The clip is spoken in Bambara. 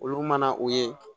Olu mana o ye